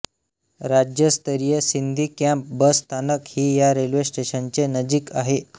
राज्य स्तरीय Sindhi camp bus स्थानक ही या रेल्वे स्टेशनचे नजीक आहे